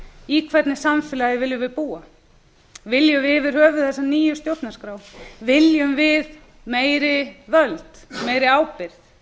í hvernig samfélagi viljum við búa viljum við yfir höfuð þessa nýju stjórnarskrá viljum við meiri völd meiri ábyrgð